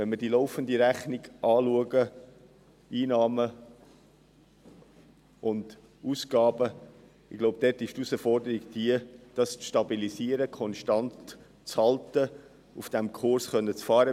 Wenn wir die laufende Rechnung betrachten, die Einnahmen und Ausgaben, besteht die Herausforderung wohl darin, das Ganze zu stabilisieren und konstant zu halten und auf diesem Kurs fortfahren zu können.